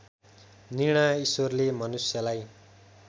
निर्णय ईश्वरले मनुष्यलाई